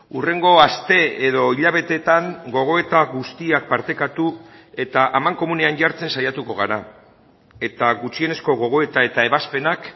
hurrengo aste edo hilabeteetan gogoeta guztiak partekatu eta amankomunean jartzen saiatuko gara eta gutxienezko gogoeta eta ebazpenak